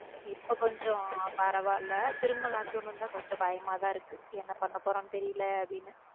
இப்போ கொஞ்சம் பரவாயில்லை திரும் lockdown வந்தா கொஞ்சம் பயமா தான் இருக்கு என்ன பண்ண போறோம்னு தெரியல அப்பிடின்னு.